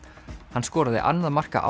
hann skoraði annað marka